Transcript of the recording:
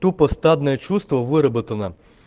тупо стадное чувство выработано